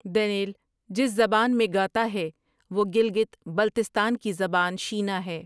دن٘یل جس زبان میں گاتا ہے وہ گلگت بلتستان کی زبان شینا ہے۔